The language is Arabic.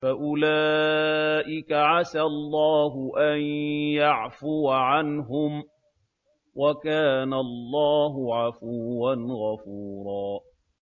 فَأُولَٰئِكَ عَسَى اللَّهُ أَن يَعْفُوَ عَنْهُمْ ۚ وَكَانَ اللَّهُ عَفُوًّا غَفُورًا